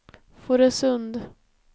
Fårösund